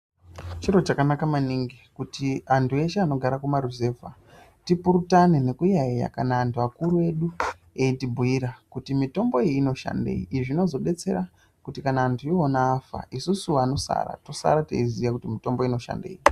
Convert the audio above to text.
Chiro chakanaka maningi kuti antu eshe anogara kumaruzevha tipurutane nekuyaiyaya kana antu akuru edu eitibhuyira kuti mitombo iyi inoshandei, izvi zvinotibetsera kuti kana antu iwona afa isusu vanosara tosara teiziwa kuti mitombo inoshandei.